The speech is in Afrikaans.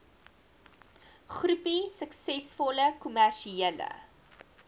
groepie suksesvolle kommersiële